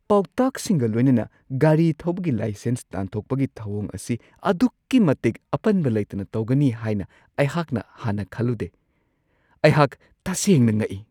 ꯄꯥꯎꯇꯥꯛꯁꯤꯡꯒ ꯈꯜꯂꯨꯗꯦ ꯒꯥꯔꯤ ꯊꯧꯕꯒꯤ ꯂꯥꯏꯁꯦꯟꯁ ꯇꯥꯟꯊꯣꯛꯄꯒꯤ ꯊꯧꯋꯣꯡ ꯑꯁꯤ ꯑꯗꯨꯛꯀꯤ ꯃꯇꯤꯛ ꯑꯄꯟꯕ ꯂꯩꯇꯅ ꯇꯧꯒꯅꯤ ꯍꯥꯏꯅ ꯑꯩꯍꯥꯛꯅ ꯍꯥꯟꯅ ꯈꯜꯂꯝꯗꯦ ꯫ ꯑꯩꯍꯥꯛ ꯇꯁꯦꯡꯅ ꯉꯛꯏ !